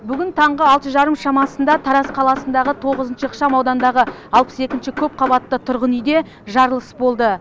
бүгін таңғы алты жарым шамасында тараз қаласындағы тоғызыншы ықшам ауданындағы алпыс екінші көпқабатты тұрғын үйде жарылыс болды